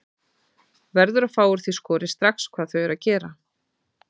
Verður að fá úr því skorið strax hvað þau eru að gera.